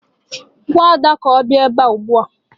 Gwa Ada ka ọ bịa ebe a ugbu a!